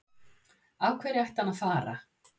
Af hverju ætti hann að fara?